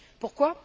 Pourquoi?